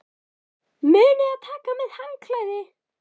Munið að taka með handklæði!